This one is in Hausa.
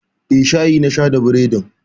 Eh, shayi na sha da bredin.